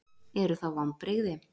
Eru það vonbrigði?